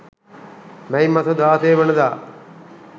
මැයි මස 16 වන දා